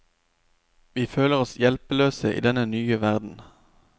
Vi føler oss hjelpeløse i denne nye verden.